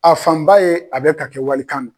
A fan ba ye a be ka kɛ walikan na.